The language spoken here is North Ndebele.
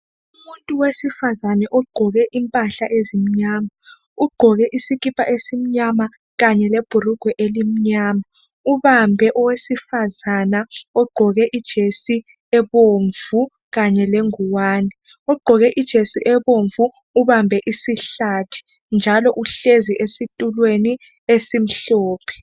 Umuntu wesifazana ogqoke impahla ezimnyana ugqoke isikipa esimnyama kanye lebhurugwe elinyama ubambe owesifazana ogqoke ijesi ebomvu kanye lengwane. Ogqoke ijesi ebomvu ubambe isihlathi njalo uhlezi esitulweni esimhlophe.